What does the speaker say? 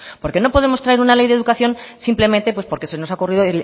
porque no podemos traer una ley de educación simplemente pues porque se nos ha ocurrido